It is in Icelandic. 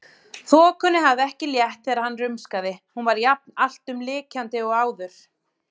Þokunni hafði ekki létt þegar hann rumskaði, hún var jafn alltumlykjandi og áður.